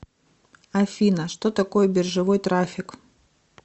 афина что такое биржевой трафик